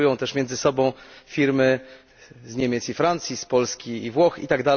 Konkurują też między sobą firmy z Niemiec i Francji, z Polski i Włoch itp.